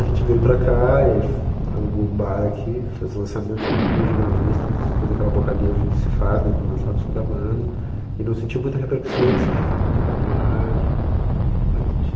A gente veio para cá, alugou um bar aqui, fez o lançamento, chamou todos os jornalistas, fez aquela boca livre que se faz para lançar o disco da banda e não sentiu muita repercussão, assim, porque não tocava no rádio.